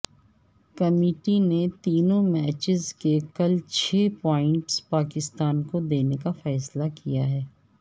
committee نے تینوں matches کے کل چھ پوائنٹس پاکستان کو دینے کا فیصلہ کیا ہے